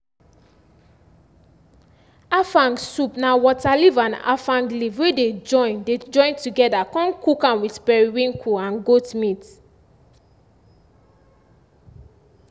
afang soup na water leaf and afang leaf wey dey join dey join together con cook am with periwinkle and goat meat